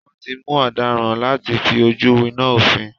Wọ́n ti mú ọ̀daràn láti fi ojú winá òfin.